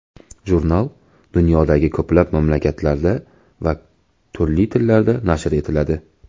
Jurnal dunyodagi ko‘plab mamlakatlarda va turli tillarda nashr etiladi.